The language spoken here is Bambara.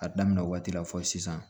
A daminɛ waati la fɔ sisan